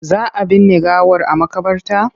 Za a binne gawar a maƙabarta?